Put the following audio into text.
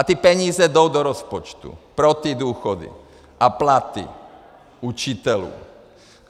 A ty peníze jdou do rozpočtu pro ty důchody a platy učitelů.